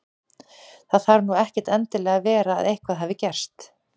Það þarf nú ekkert endilega að vera að eitthvað hafi gerst.